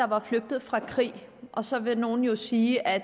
var flygtet fra krig og så vil nogle sige at